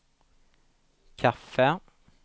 kaffe